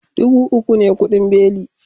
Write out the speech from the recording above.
Dubu uku ne kudin beli